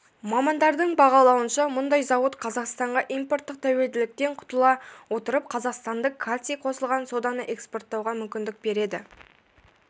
мамандардың бағалауынша мұндай зауыт қазақстанға импорттық тәуелділіктен құтыла отырып қазақстандық калций қосылған соданы экспорттауға мүмкіндік береді